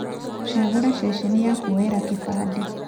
Cagũra ceceni ya kuoyera kĩbandĩ.